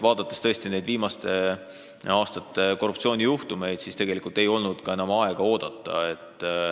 Vaadates viimaste aastate korruptsioonijuhtumeid, oli selge, et tegelikult ei olnud enam aega oodata.